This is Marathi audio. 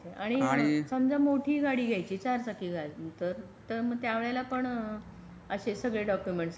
आणि समजा मोठी गाडी घ्यायची चार चाकी गाडी तर मग त्यावेळेला पण अशे सगळे डॉक्युमेंट लागतात काय?